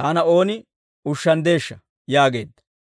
taana ooni ushshanddeeshsha!» yaageedda.